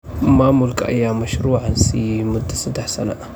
Maamulka ayaa mashruucan siisay mudoo saddex sano ah.